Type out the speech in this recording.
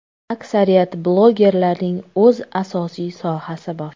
Aksariyat blogerlarning o‘z asosiy sohasi bor.